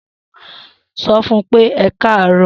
So fún pé ẹkarọ